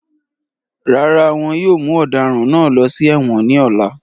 Rárá wọn yóò mu ọ̀daràn náà lọ sí èwọ̀n ní ọ̀la